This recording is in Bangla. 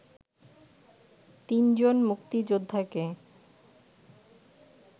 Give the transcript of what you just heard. তিনজন মুক্তিযোদ্ধাকে